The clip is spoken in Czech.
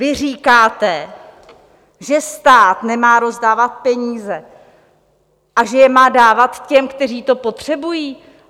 Vy říkáte, že stát nemá rozdávat peníze a že je má dávat těm, kteří to potřebují?